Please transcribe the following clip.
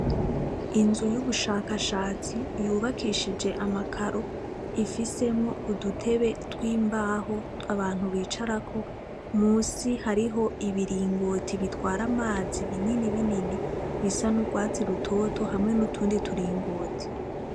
Inzu y'ubushakashatsi yubakishije amakaro ifisemwo udutebe tw'imbaho abantu bicarako, musi hariho ibiringoti bitwara amazi binini binini bisa n'urwatsi rutoto hamwe n'utundi turingoti.